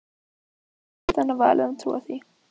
Við höfum bara ekkert annað val en að trúa því.